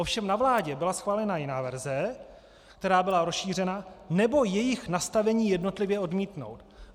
Ovšem na vládě byla schválena jiná verze, která byla rozšířena: Nebo jejich nastavení jednotlivě odmítnout.